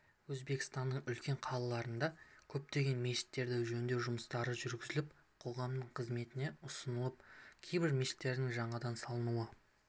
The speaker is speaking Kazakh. өзбекстанның үлкен қалаларында көптеген мешіттерде жөндеу жұмыстары жүргізіліп қоғамның қызметіне ұсынылып кейбір мешіттердің жаңадан салынуы